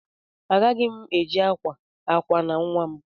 Agaghị m eji akwa akwa na nwa m.